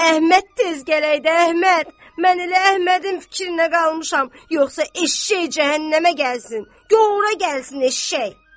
Əhməd tez gələydə, Əhməd, mən elə Əhmədin fikrinə qalmışam, yoxsa eşşəy cəhənnəmə gəlsin, gor ora gəlsin eşşəy.